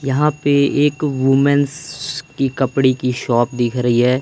यहां पे एक वूमेंस कि कपड़े के शॉप दिख रही है।